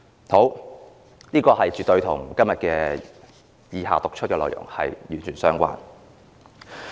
這絕對與以下我要讀出的內容完全相關。